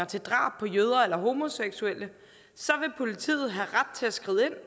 til drab på jøder eller homoseksuelle vil politiet have ret til at skride